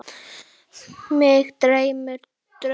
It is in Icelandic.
Mig dreymdi draum.